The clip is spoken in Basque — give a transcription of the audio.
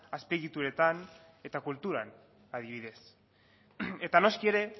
azpiegituretan eta kulturan adibidez eta noski ere